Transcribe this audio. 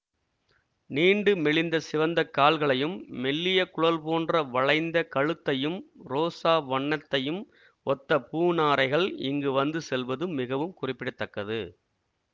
நீண்டு மெலிந்த சிவந்த கால்களையும் மெல்லிய குழல் போன்ற வளைந்த கழுத்தையும் ரோசா வண்ணத்தையும் ஒத்த பூநாரைகள் இங்கு வந்து செல்வது மிகவும் குறிப்பிட தக்கது